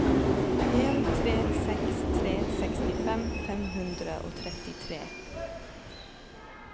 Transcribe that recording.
en tre seks tre sekstifem fem hundre og trettitre